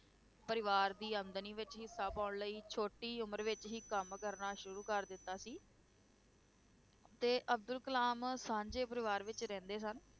ਪਰਿਵਾਰ ਦੀ ਆਮਦਨੀ ਵਿੱਚ ਹਿੱਸਾ ਪਾਉਣ ਲਈ ਛੋਟੀ ਉਮਰ ਵਿੱਚ ਹੀ ਕੰਮ ਕਰਨਾ ਸ਼ੁਰੂ ਕਰ ਦਿੱਤਾ ਸੀ ਤੇ ਅਬਦੁਲ ਕਲਾਮ ਸਾਂਝੇ ਪਰਵਾਰ ਵਿੱਚ ਰਹਿੰਦੇ ਸਨ,